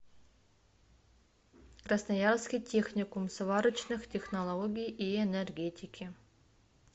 красноярский техникум сварочных технологий и энергетики